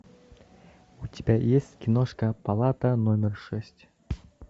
у тебя есть киношка палата номер шесть